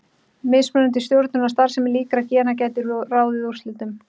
Mismunandi stjórnun á starfsemi líkra gena gæti ráðið úrslitum.